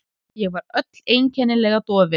Ég var öll einkennilega dofin.